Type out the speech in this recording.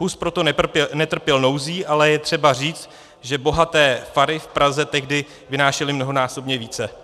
Hus proto netrpěl nouzí, ale je třeba říct, že bohaté fary v Praze tehdy vynášely mnohonásobně více.